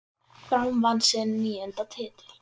Fram vann sinn níunda titil.